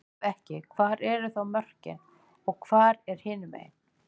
Ef ekki, hvar eru þá mörkin og hvað er hinumegin?